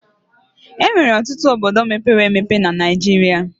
Enwere ọtụtụ obodo mepere emebe na Naijiria